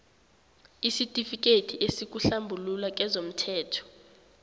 isitifikethi esikuhlambulula kezomthelo